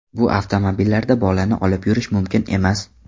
Bu avtomobillarda bolani olib yurish mumkin emas.